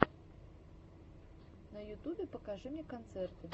на ютубе покажи мне концерты